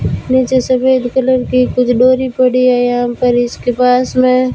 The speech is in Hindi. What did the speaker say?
नीचे सफेद कलर की कुछ डोरी पड़ी है यहां पर इसके पास में--